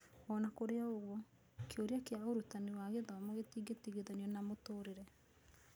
O na kũrĩ ũguo, kĩũria kĩa ũrutani wa gĩthomo gĩtingĩtigithanio na mũtũũrĩre.